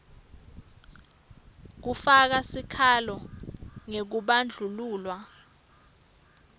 kufaka sikhalo ngekubandlululwa